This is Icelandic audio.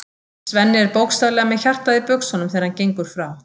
Svenni er bókstaflega með hjartað í buxunum þegar hann gengur frá